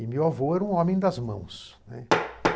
E meu avô era um homem das mãos, né.